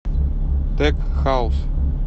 тек хаус